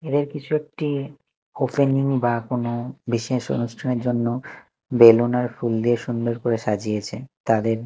এদের কিছু একটি ওপেনিং বা কোন বিশেষ অনুষ্ঠানের জন্য বেলুন আর ফুল দিয়ে সুন্দর করে সাজিয়েছে তাদের--